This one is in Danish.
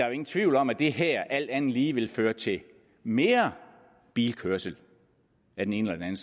jo ingen tvivl om at det her alt andet lige vil føre til mere bilkørsel af den ene eller den